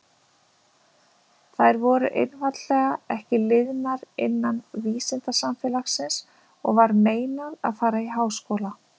Þær voru einfaldlega ekki liðnar innan vísindasamfélagsins og var meinað að fara í háskóla.